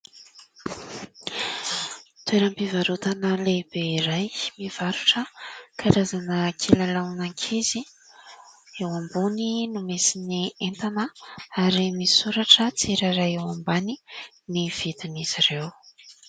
Toeram-pivarotana lehibe iray mivarotra karazana kilalaona ankizy, eo ambony no misy ny entana ary misoratra tsirairay eo ambany ny vidin'izy ireo.